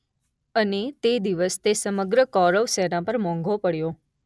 અને તે દિવસ તે સમગ્ર કૌરવ સેના પર મોંઘો પડ્યો.